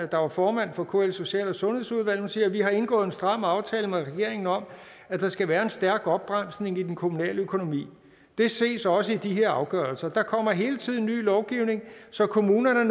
der var formand for kls social og sundhedsudvalg siger vi har indgået en stram aftale med regeringen om at der skal være en stærk opbremsning i den kommunale økonomi det ses også i de her afgørelser der kommer hele tiden ny lovgivning så kommunerne